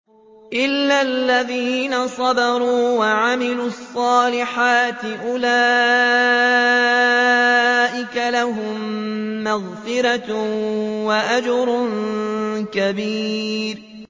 إِلَّا الَّذِينَ صَبَرُوا وَعَمِلُوا الصَّالِحَاتِ أُولَٰئِكَ لَهُم مَّغْفِرَةٌ وَأَجْرٌ كَبِيرٌ